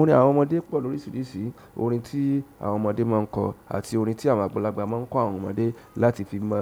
Òrin àwọn ọmọdé pọ̀ lórí sìrìsì orin tí àwọn ọmọdé máa ń kọ àti orin tí àwọn àgbàlagbà máa ń kọ àwọn ọmọdé láti fi mọ,